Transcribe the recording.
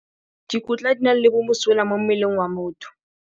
Dikotla di na le bomosola mo mmeleng wa motho.